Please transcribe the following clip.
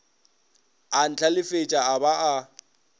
a ntlhalefetša a ba a